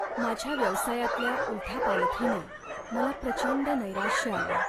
माझ्या व्यवसायातल्या उलथापालथीने मला प्रचंड नैराश्य आलंय.